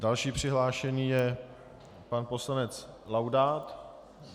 Další přihlášený je pan poslanec Laudát.